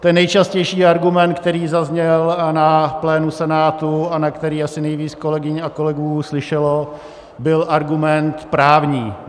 Ten nejčastější argument, který zazněl na plénu Senátu a na který asi nejvíc kolegyň a kolegů slyšelo, byl argument právní.